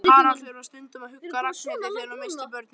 Haraldur var stundum að hugga Ragnhildi þegar hún missti börnin.